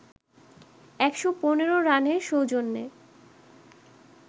১১৫ রানের সৌজন্যে